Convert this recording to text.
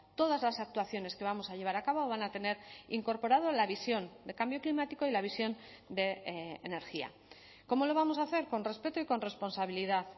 todas las actuaciones que vamos a llevar a cabo van a tener incorporado la visión de cambio climático y la visión de energía cómo lo vamos a hacer con respeto y con responsabilidad